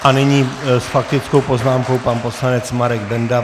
A nyní s faktickou poznámkou pan poslanec Marek Benda.